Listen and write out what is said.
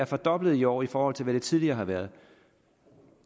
fordoblet i år i forhold til hvad det tidligere har været